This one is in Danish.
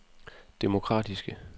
demokratiske